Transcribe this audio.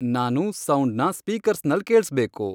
ನಾನು ಸೌಂಡ್ನ ಸ್ಪೀಕರ್ಸ್ನಲ್ ಕೇಳ್ಸ್ಬೇಕು